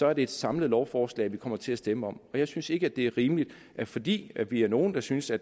er det et samlet lovforslag vi kommer til at stemme om jeg synes ikke det er rimeligt at fordi vi er nogle der synes at